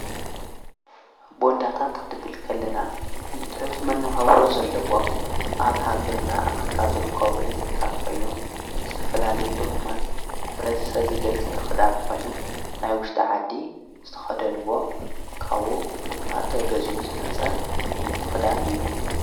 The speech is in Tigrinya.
ብወንዳታት ኽድብልከልና ንትዑት መነውሃውሮ ዘለዎም ኣብ ሃገርና ኣፍሪካ ዝርኮብ ሕዝቢ ታት ኾይኑ ድስተፈላልይ ደኹማት ኅብረቲ ሰብ ዘገልግሊ ኽዳን ኾይኑ ናይ ውሽተ ዓዲ ዝተኸደንዎ ካዉ ድማተ ገዝኡ ዝመጸ ዓይነት ኽዳን እዩ።